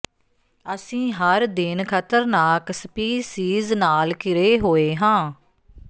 ਅਸੀਂ ਹਰ ਦਿਨ ਖਤਰਨਾਕ ਸਪੀਸੀਜ਼ ਨਾਲ ਘਿਰੇ ਹੋਏ ਹਾਂ